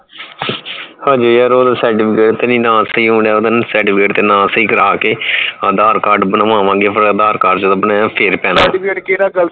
ਹਜੇ ਯਾਰ ਓਹਦਾ certificate ਤੇ ਨਾਂ ਸਹੀ ਕਰਵਾਣਾ ਗਾ certificate ਤੇ ਨਾਂ ਸਹੀ ਕਰਾਕੇ aadhar card ਬਨਵਾਵਾਂਗੇ ਫੇਰ aadhar card ਜਦੋ ਬਣਿਆ ਫੇਰ ਪੈਣਾ certificate ਕੇਡਾ